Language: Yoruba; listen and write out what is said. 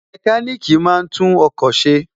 Mẹkáníkì máa ń tún ọkọ̀ ṣe